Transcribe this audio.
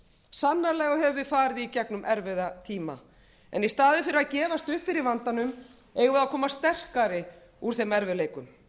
sannarlega höfum við farið í gegnum erfiða tíma en í staðinn fyrir að gefast upp fyrir vandanum eigum við að koma sterkari út úr þeim erfiðleikum